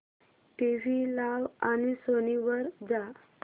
TV लाव आणि Sony वर जा